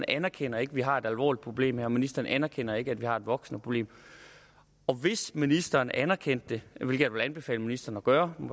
anerkender at vi har et alvorligt problem her og ministeren anerkender ikke at vi har et voksende problem hvis ministeren anerkendte det hvilket jeg vil anbefale ministeren at gøre hun